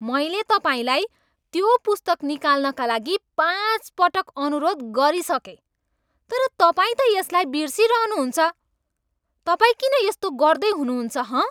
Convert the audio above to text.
मैले तपाईँलाई त्यो पुस्तक निकाल्नका लागि पाँच पटक अनुरोध गरिसकेँ तर तपाईँ त यसलाई बिर्सिरहनु हुन्छ, तपाईँ किन यस्तो गर्दै हुनुहुन्छ हँ?